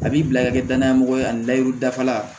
A b'i bila ka kɛ danayamɔgɔ ye ani layiru dafa la